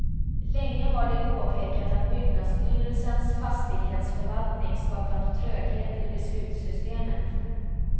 Länge har de påpekat att byggnadsstyrelsens fastighetsförvaltning skapat tröghet i beslutssystemet.